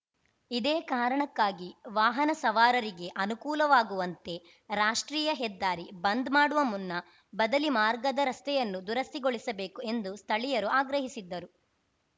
ಇದೇ ಕಾರಣಕ್ಕಾಗಿ ವಾಹನ ಸವಾರರಿಗೆ ಅನುಕೂಲವಾಗುವಂತೆ ರಾಷ್ಟ್ರೀಯ ಹೆದ್ದಾರಿ ಬಂದ್‌ ಮಾಡುವ ಮುನ್ನ ಬದಲಿ ಮಾರ್ಗದ ರಸ್ತೆಯನ್ನು ದುರಸ್ತಿಗೊಳಿಸಬೇಕು ಎಂದು ಸ್ಥಳೀಯರು ಆಗ್ರಹಿಸಿದ್ದರು